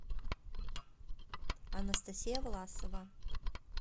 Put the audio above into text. анастасия власова